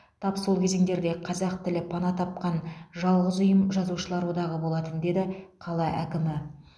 тап сол кезеңдерде қазақ тілі пана тапқан жалғыз ұйым жазушылар одағы болатын деді қала әкімі